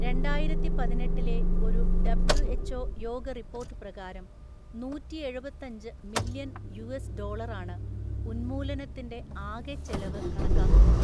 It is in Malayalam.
രണ്ടായിരത്തിപതിനെട്ടിലെ ഒരു ഡബ്ല്യുഎച്ച്ഓ യോഗ റിപ്പോർട്ട് പ്രകാരം നൂറ്റിയെഴുപത്തഞ്ച് മില്യൺ യുഎസ് ഡോളറാണ് ഉന്മൂലനത്തിന്റെ ആകെ ചെലവ് കണക്കാക്കുന്നത്.